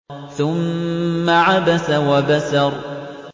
ثُمَّ عَبَسَ وَبَسَرَ